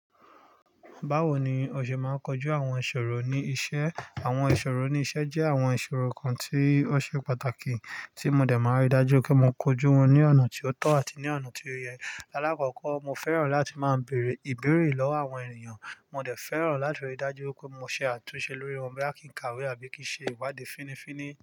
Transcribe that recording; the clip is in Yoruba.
Báwo ni o ṣe máa ń kojú àwon ìṣòro ní isẹ́? Àwon ìṣòro ní isẹ́ jẹ́ àwon ìṣòro kan tí ó ṣe pàtàkì, tí mo dẹ̀ máa ń rí dájú pé mo kojú wọn ní ọ̀nà tí ó tọ́ àti ní ọ̀nà tí ó yẹ. Láàkọ́kọ́, mo fẹ́ràn láti máa ń bèrè ìbéèrè lọ́wọ́ àwọn ènìyàn. Mo dẹ̀ fẹ́ràn láti ríi dájú pé mo ṣe àtúnṣe lórí wọn bí a kì í kàwé àbí kì í ṣe ìwádìí. Fínní fínní.